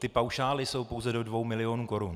Ty paušály jsou pouze do dvou milionů korun.